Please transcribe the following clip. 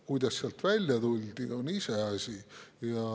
Kuidas sealt välja tuldi, on iseasi.